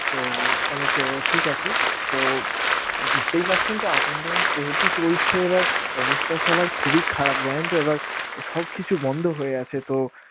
তো অনেক ঠিক আছে! তো বুঝতেই পারছেন তো up and downs যেহেতু চলছে, এবার অবস্থা সবার খুবই খারাপ জানেন তো এবার সবকিছু বন্ধ হয়ে আছেতো